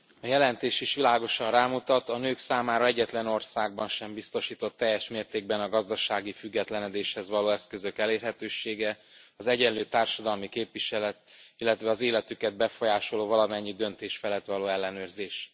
Elnök Asszony, a jelentés is világosan rámutat, a nők számára egyetlen országban sem biztosított teljes mértékben a gazdasági függetlenedéshez való eszközök elérhetősége, az egyenlő társadalmi képviselet, illetve az életüket befolyásoló valamennyi döntés felett való ellenőrzés.